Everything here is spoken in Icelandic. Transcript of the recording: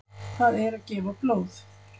Það er gefa blóð.